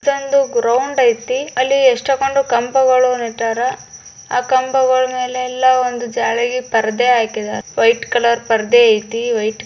ಅಲ್ಲಿ ಎಷ್ಟೊಂದು ಗ್ರಾವಂಡ್ ಐತಿ ಎಷ್ಟೊಂದು ಅಲ್ಲಿ ಕಂಬಗಳ ನೆಟ್ಟರ ಆ ಕಂಬಳ ಮೆಲೆಲ್ಲಾ ಜಾಳಗಿ ಪರದೇ ಹಾಕಿದ್ದಾರ.